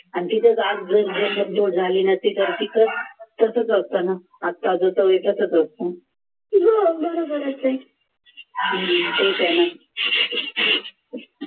तर तिथं तसंच असतं ना ठीक आहे ना